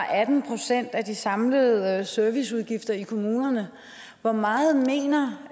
atten procent af de samlede serviceudgifter i kommunerne hvor meget mener